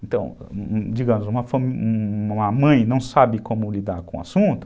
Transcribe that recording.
Então, digamos, uma uma mãe não sabe como lidar com o assunto,